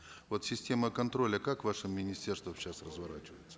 вот система контроля как в вашем министерстве сейчас разворачивается